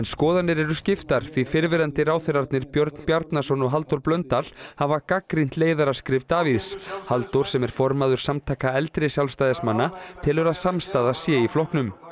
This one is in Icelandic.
skoðanir eru skiptar því fyrrverandi ráðherrarnir Björn Bjarnason og Halldór Blöndal hafa gagnrýnt leiðaraskrif Davíðs Halldór sem er formaður Samtaka eldri Sjálfstæðismanna telur að samstaða sé í flokknum